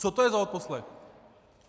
Co to je za odposlech?